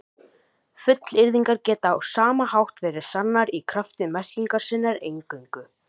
Fullyrðingar geta á sama hátt verið sannar í krafti merkingar sinnar eingöngu.